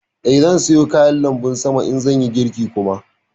Eh, zan soya kayan lanbun sama sama in zan yi girki kuma